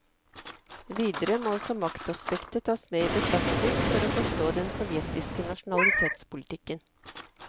Videre må også maktaspektet tas med i betraktning for å forstå den sovjetiske nasjonalitetspolitikken.